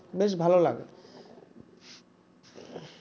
বেশ ভালো লাগে